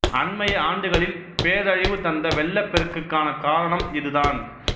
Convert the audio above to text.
அண்மைய ஆண்டுகளில் பேரழிவு தந்த வெள்ளப் பெருக்குக்கான காரணம் இதுதான்